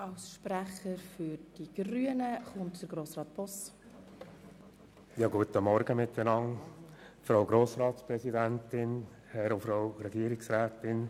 Als Nächster spricht als Co-Antragssteller und Fraktionssprecher der Grünen Grossrat Boss.